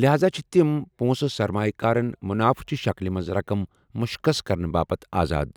لہذا چھِ تِم پونٛسہٕ سرمایہِ کارَن منافعہٕ چہِ شکلہِ منٛز رقم مُشخص کرنہٕ باپتھ آزاد ۔